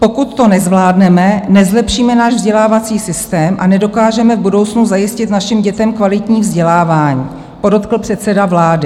Pokud to nezvládneme, nezlepšíme náš vzdělávací systém a nedokážeme v budoucnu zajistit našim dětem kvalitní vzdělávání, podotkl předseda vlády.